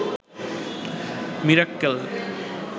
Mirakkel